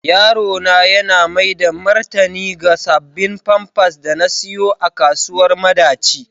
Yaro na yana maida martani ga sabbin pampas da na siyo a kasuwar madaci.